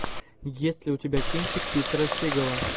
есть ли у тебя кинчик питера сигала